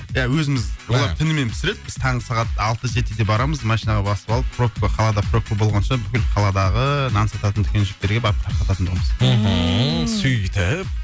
иә өзіміз олар түнімен пісіреді біз таңғы сағат алты жетіде барамыз машинаға басып алып пробка қалада пробка болғанша бүкіл қаладағы нан сататын дүкеншіктерге тарқататын тұғынбыз мхм сөйтіп